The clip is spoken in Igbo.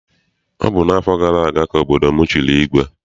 Ọ bụ n'afọ gara aga ka obodo m chịrị igwe.